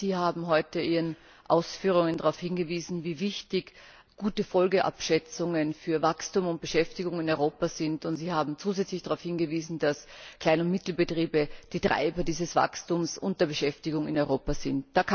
Sie haben heute in Ihren Ausführungen darauf hingewiesen, wie wichtig gute Folgenabschätzungen für Wachstum und Beschäftigung in Europa sind, und Sie haben zusätzlich darauf hingewiesen, dass kleine und mittlere Betriebe die treibenden Kräfte dieses Wachstums und der Beschäftigung in Europa sind.